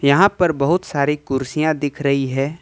यहां पर बहुत सारी कुर्सियां दिख रही है।